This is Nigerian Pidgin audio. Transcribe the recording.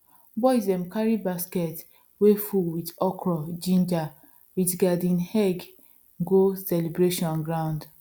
boys dem carry basket way full with okra ginger with garden eggs go the celebration ground